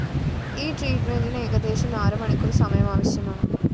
ഈ ട്രീറ്റ്‌മെന്റിന് ഏകദേശം നാലുമണിക്കൂര്‍ സമയം ആവശ്യമാണ്